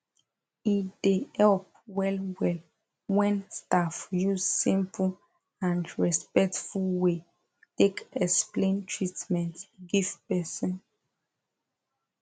e dey help well well when staff use simple and respectful way take explain treatment give person